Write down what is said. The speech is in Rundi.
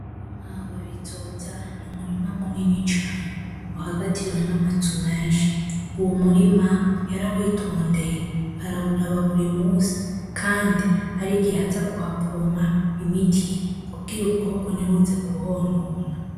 Umurima wa Bizoza ni umurima munini cane uhagatiwe namazu menshi , uwo murima yarawitondeye arawuraba buri munsi kandi harigihe aza kuha pompa imiti kugira ubukoko ntibuze kuhonona.